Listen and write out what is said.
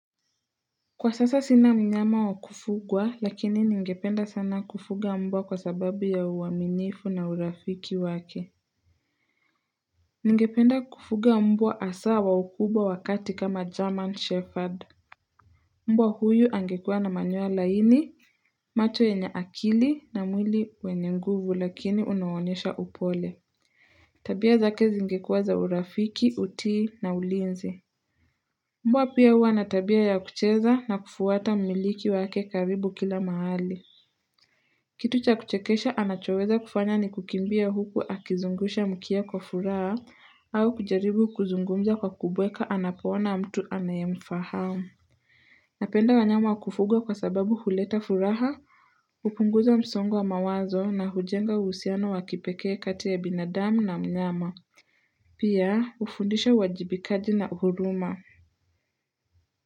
Kwa sasa sina mnyama wa kufugwa lakini ningependa sana kufuga mbwa kwa sababu ya uwaminifu na urafiki wake. Ningependa kufuga mbwa asaa wa ukubwa wa kati kama German Shepherd. Mbwa huyu angekua na manyoa laini, macho yenye akili na mwili wenye nguvu lakini unaonyesha upole. Tabia zake zingekuwa za urafiki utii na ulinzi. Mbwa pia hua na tabia ya kucheza na kufuata mmiliki wake karibu kila mahali. Kitu cha kuchekesha anachoweza kufanya ni kukimbia huku akizungusha mkia kwa furaha au kujaribu kuzungumza kwa kubweka anapoona mtu anayemfahamu. Napenda wanyama wa kufugwa kwa sababu huleta furaha, upunguza msongo wa mawazo na hujenga uhusiano wa kipekee kati ya binadami na mnyama. Pia hufundisha uwajibikaji na huruma.